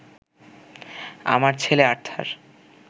আমার ছেলে আর্থার